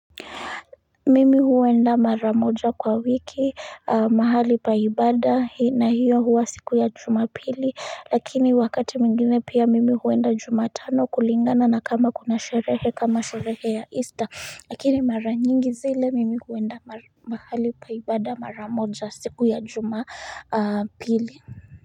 Mimi huenda mara moja kwa wiki mahali pa ibada na hiyo huwa siku ya jumapili, lakini wakati mwingine pia mimi huenda jumatano kulingana na kama kuna sherehe, kama sherehe ya easter. Lakini mara nyingi zile mimi huenda mahali pa ibada mara moja siku ya jumapili.